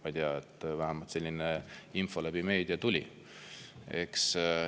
Ma ei tea, vähemalt selline info meediast tuli.